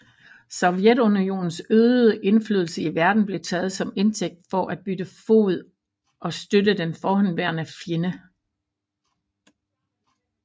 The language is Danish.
Sovjetunionens øgede indflydelse i verden blev taget som indtægt for at bytte fod og støtte den forhenværende fjende